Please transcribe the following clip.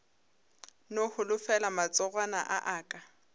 no holofela matsogwana a aka